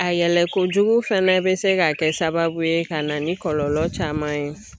A yɛlɛkojugu fana bɛ se ka kɛ sababu ye ka na ni kɔlɔlɔ caman ye